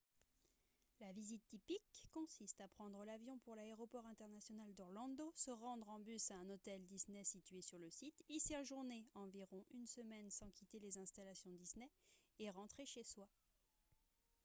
la visite « typique » consiste à prendre l’avion pour l’aéroport international d’orlando se rendre en bus à un hôtel disney situé sur le site y séjourner environ une semaine sans quitter les installations disney et rentrer chez soi